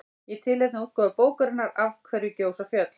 Í tilefni af útgáfu bókarinnar Af hverju gjósa fjöll?